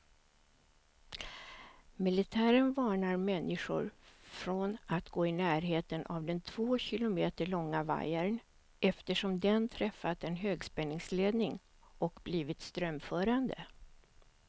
Militären varnar människor från att gå i närheten av den två kilometer långa vajern, eftersom den träffat en högspänningsledning och blivit strömförande.